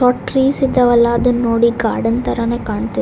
ದೊಡ್ಡ ಟ್ರೀಸ್ ಇದಾವಲ್ಲ ಅದನ್ನ ನೋಡಿ ಗಾರ್ಡನ್ ತರಾನೇ ಕಾಣ್ತಿದೆ .